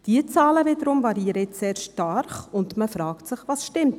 Diese Zahlen wiederum variieren sehr stark, und man fragt sich, was jetzt stimmt.